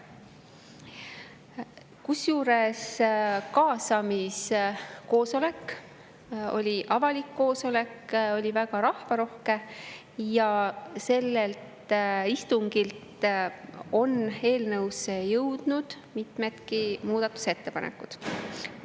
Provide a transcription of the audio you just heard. Kaasamiskoosolek oli avalik koosolek, see oli väga rahvarohke ja sellelt istungilt on eelnõusse jõudnud mitmedki muudatusettepanekud.